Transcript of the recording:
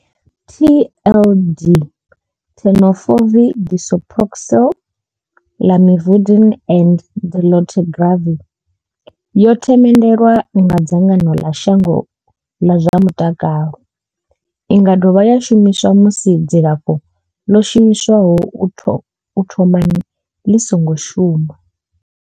TLDTenofovir disoproxil, Lamivudine and dolutegravir yo themendelwa nga dzangano ḽa shango ḽa zwa mutakalo. I nga dovha ya shumiswa musi dzilafho ḽo shumiswaho u thomani ḽi songo shuma.